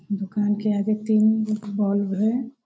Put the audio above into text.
दुकान के आगे तीन बॉल्ब है।